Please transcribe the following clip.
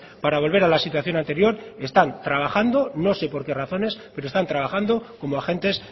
para volver a la situación anterior están trabajando no sé por qué razones pero están trabajando como agentes